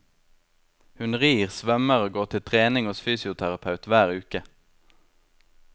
Hun rir, svømmer og går til trening hos fysioterapeut hver uke.